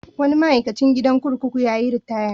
Wani ma'aikacin gidan kurkuku ya yi ritaya.